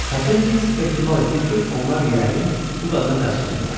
Xəfiyə Fiks ehtimal etdi ki, onlar yəqin bu qadını qaçırıblar.